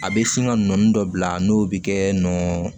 A bɛ sin ka nɔɔni dɔ bila n'o bɛ kɛ nɔnɔn